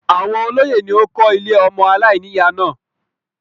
Àwọn olóyè ni ó kó ilé ọmọ aláìníyà náà.